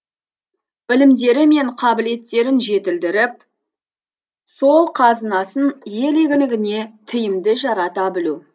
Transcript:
білімдері мен қабілеттерін жетілдіріп сол қазынасын ел игілігіне тиімді жарата білу